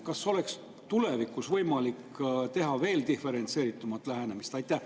Kas tulevikus oleks võimalik veel diferentseeritum lähenemine?